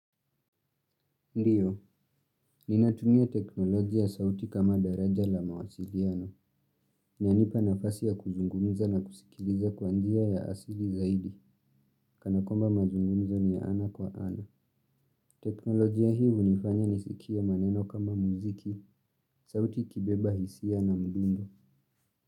Ndiyo, ninatumia teknoloji ya sauti kama daraja la mawasiliano. Inanipa nafasi ya kuzungumza na kusikiliza kwa njia ya asili zaidi. Kanakwamba mazungumzo ni ya ana kwa ana. Teknolojia hii hunifanya nisikie maneno kama muziki, sauti ikibeba hisia na mdundo.